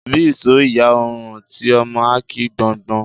Bí isó ìyá ò rùn, ti ọmọ á ki gbọ́ngbọ́n.